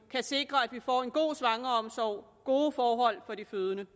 kan sikre at vi får en god svangreomsorg gode forhold for de fødende